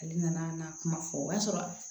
Ale nana kuma fɔ o y'a sɔrɔ